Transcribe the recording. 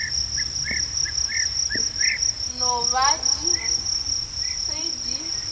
no ba di se di